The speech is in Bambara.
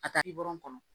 A ka kɔnɔ